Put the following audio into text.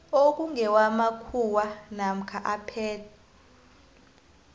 okungewamakhuwa namkha aphethwe